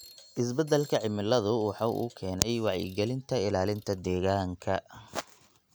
Isbeddelka cimiladu waxa uu keenay wacyigelinta ilaalinta deegaanka.